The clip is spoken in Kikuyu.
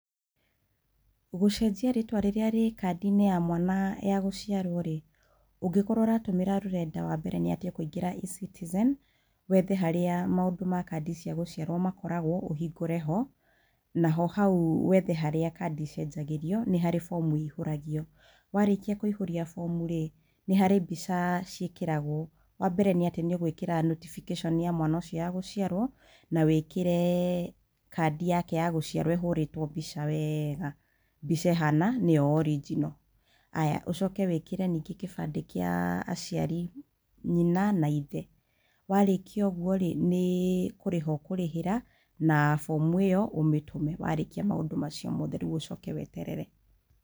Gũcenjia rĩtwa rĩrĩa rĩ kandi-inĩ ya mwana ya gũciarwo rĩ, ũngĩkorwo ũratũmĩra rũrenda wambere nĩ atĩ ũkũingĩra e-citizen, wethe harĩa maũndũ ma kandi ciagũciarwo makoragwo, ũhingũre ho, naho hau wethe harĩa kandi icenjagĩrio, nĩharĩ bomu ihũragio. Warĩkia kũihũria bomu rĩ, nĩharĩ mbica ciĩkĩragwo. Wambere nĩ atĩ nĩũgwĩkĩra notibikĩconi ya mwana ũcio ya gũciarwo nawĩkĩre kandi yake ya gũciarwo ĩhũrĩtwo mbica wega, mbica ĩhana nĩyo orinjino haya ũcoke wĩkĩre kĩbandĩ kĩa aciari: nyina na ithe. warĩkia ũguo rĩ, nĩ kũrĩha ũkũrĩhĩra na bomu ĩyo ũmĩtũme, warĩkia maũndũ macio mothe rĩu ũcoke weterere.